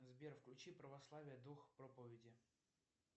сбер включи православие дух проповеди